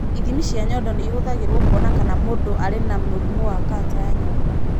Ithimi cia nyondo nĩ ihũthagĩrũo kũona kana mũndũ arĩ na mũrimũ wa kanca ya nyondo.